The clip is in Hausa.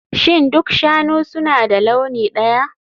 Shin duk shanu suna da launi ɗaya?